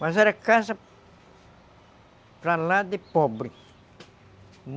Mas era casa para lá de pobre.